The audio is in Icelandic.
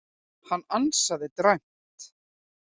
Hann ansaði dræmt.